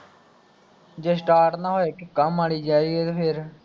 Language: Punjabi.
ਜੇ ਸਟਾਰਟ ਨਾ ਹੋੇਏ ਕਿੱਕਾਂ ਮਾਰੀ ਜਾਈਏ ਫੇਰ